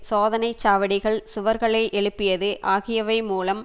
சோதனை சாவடிகள் சுவர்களை எழுப்பியது ஆகியவை மூலம்